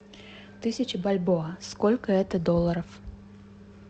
тысяч бальбоа сколько это долларов